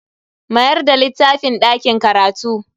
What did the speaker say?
Mayar da littafin dakin karatu.